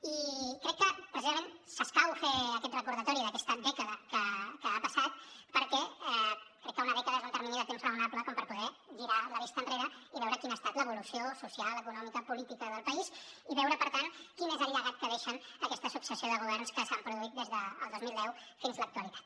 i crec que precisament s’escau fer aquest recordatori d’aquesta dècada que ha passat perquè crec que una dècada és un termini de temps raonable com per poder girar la vista enrere i veure quina ha estat l’evolució social econòmica política del país i veure per tant quin és el llegat que deixen aquesta successió de governs que s’han produït des del dos mil deu fins a l’actualitat